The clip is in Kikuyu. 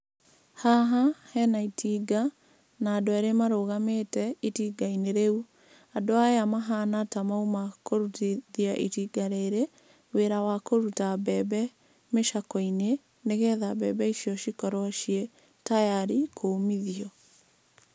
Haha hena itinga na andũ erĩ marũgamĩte itinga-inĩ rĩu. Andũ aya mahana ta mauma kũrutithia itinga rĩrĩ wĩra wa kũruta mbembe micakwe-inĩ nĩ getha mbembe icio cikorwo ciĩ tayarĩ kũmithio.